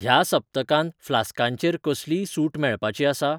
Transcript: ह्या सप्तकांत फ्लास्कां चेर कसलीय सूट मेळपाची आसा?